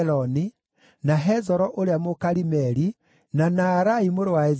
na Hezoro ũrĩa Mũkarimeli, na Naarai mũrũ wa Ezibai,